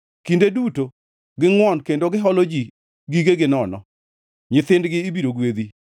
Kinde duto gingʼwon kendo giholo ji gigegi nono; nyithindgi ibiro gwedhi.